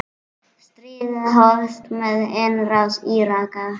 Stríðið hófst með innrás Íraka.